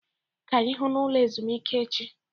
Ka anyị hụ n'ụlọ ezumezu echi